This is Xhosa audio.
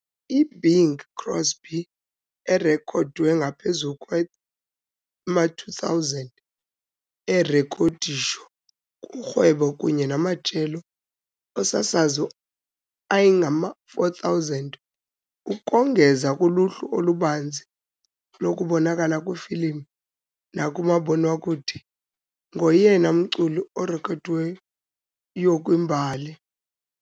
I-Bing Crosby erekhodwe ngaphezulu kwama-2 000 erekhodisho kurhwebo kunye namajelo osasazo angama-4,000, ukongeza kuluhlu olubanzi lokubonakala kwifilimu nakumabonwakude, ngoyena mculi urekhodiweyo kwimbali.